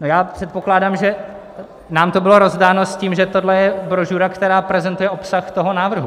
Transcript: No já předpokládám, že nám to bylo rozdáno s tím, že tohle je brožura, která prezentuje obsah toho návrhu.